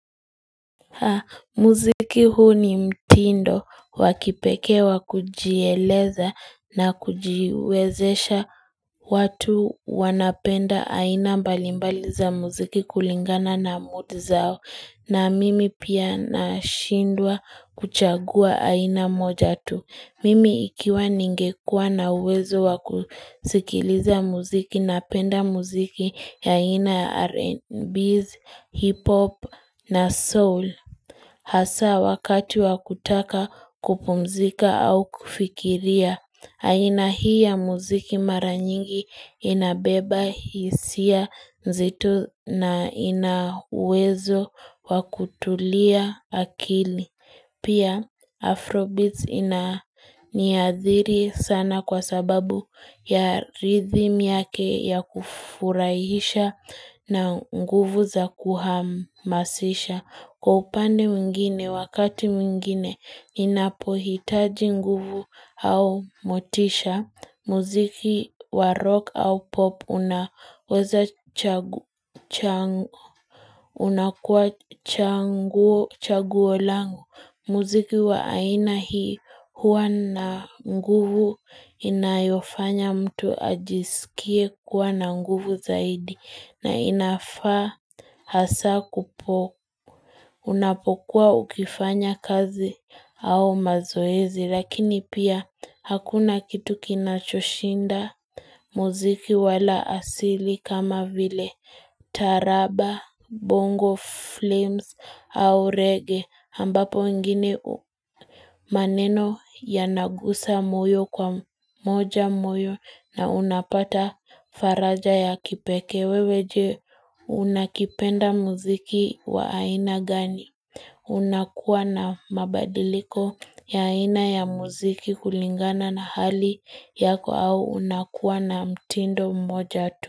Muziki huu ni mtindo, wakipekee wa kujieleza na kujiwezesha. Watu wanapenda aina mbalimbali za muziki kulingana na mood zao, na mimi pia na shindwa kuchagua aina moja tu. Mimi ikiwa ningekua na uwezo wakusikiliza muziki napenda muziki ya aina R&B, hip-hop na soul. Hasa wakati wakutaka kupumzika au kufikiria. Aina hii ya muziki mara nyingi inabeba hisia zetu na inauwezo wakutulia akili. Pia Afrobeats ina niadhiri sana kwa sababu ya rhythm yake ya kufurahisha na nguvu za kuhamasisha. Kwa upande mwingine, wakati mwingine, inapohitaji nguvu au motisha. Muziki wa rock au pop unakuwa chaguo langu. Muziki wa aina hii huwa na nguvu inayofanya mtu ajisikie kuwa na nguvu zaidi na inafaa hasa kupo. Unapokuwa ukifanya kazi au mazoezi lakini pia hakuna kitu kinachoshinda muziki wala asili kama vile taraba, bongo flames au reggae ambapo wengine maneno yanagusa moyo kwa moja moyo na unapata faraja ya kipeke. Wewe, je, unakipenda muziki wa aina gani? Unakuwa na mabadiliko ya aina ya muziki kulingana na hali yako au unakuwa na mtindo mmoja tu.